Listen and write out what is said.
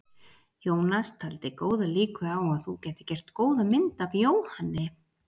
Jónas taldi góðar líkur á að þú gætir gert góða mynd af Jóhanni.